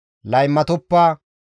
« ‹Laymatoppa;